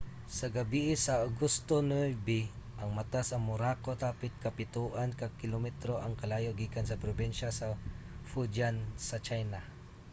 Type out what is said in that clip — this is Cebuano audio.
sa gabii sa agosto 9 ang mata sa morakot hapit kapitoan ka kilometro ang kalayo gikan sa probinsiya sa fujian sa china